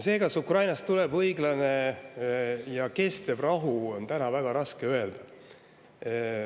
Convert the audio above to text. Seda, kas Ukrainas tuleb õiglane ja kestev rahu, on täna väga raske öelda.